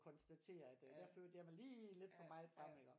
Konstatere at øh der førte jeg mig lige lidt for meget frem iggå